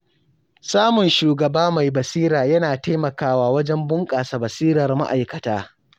Samun shugaba mai basira yana taimakawa wajen bunƙasa basirar ma’aikata.